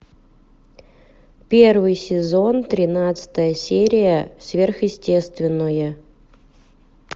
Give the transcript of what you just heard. первый сезон тринадцатая серия сверхъестественное